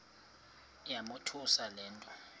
yamothusa le nto